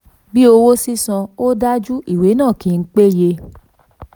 33. bí owó sísan ò dájú ìwé náà kì í péye.